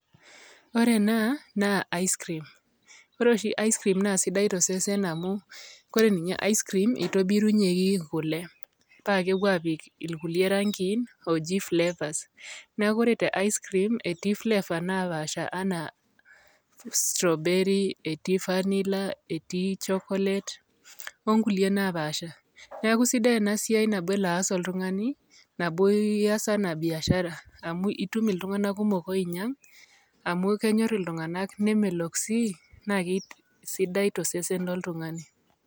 Ore ena naa ice cream, ore oshi ice cream naa sidai to sesen amu kore ninye ice cream, itobirunyeki kule paake epuo aapik irkulie rangi in ooji flavours. Neeku ore te ice cream eti flavor napaasha enaa strawberry, eti vanilla, eti chocolate o nkulie napaasha. Neeku sidai ena siai nabo elo aas oltung'ani, nabo ias anaa biashara amu itum iltung'anak kumok oinyang' amu kenyor iltung'anak, nemelok sii naake sidai to sesen loltung'ani.